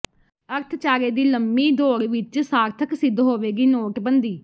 ਅਰਥਚਾਰੇ ਦੀ ਲੰਮੀ ਦੌੜ ਵਿੱਚ ਸਾਰਥਕ ਸਿੱਧ ਹੋਵੇਗੀ ਨੋਟਬੰਦੀ